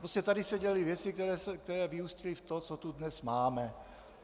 Prostě tady se děly věci, které vyústily v to, co tu dnes máme.